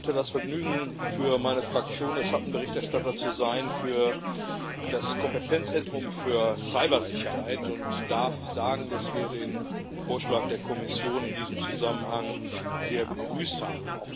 Ich hatte das Vergnügen, für meine Fraktion der Schattenberichterstatter für das Kompetenzzentrum für Cybersicherheit zu sein, und darf sagen, dass wir den Vorschlag der Kommission in diesem Zusammenhang sehr begrüßt haben.